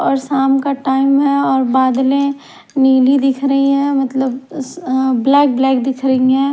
और श्याम का टाइम हैं और बादलें नीली दिख रही है मतलब अ ब्लैक ब्लैक दिख रही हैं।